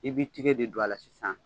I bi tigɛ de don a la sisan